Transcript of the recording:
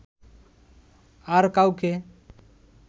আর কাউকে